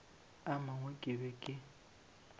a mangwe ke be ke